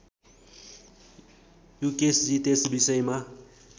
युकेशजी त्यस विषयमा